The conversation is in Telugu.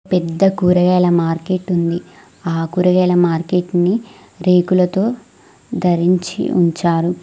పెద్ద కూరగాయల మార్కెట్ ఉంది ఆ కూరగాయల మార్కెట్ ని రేకులతో ధరించి ఉంచారు.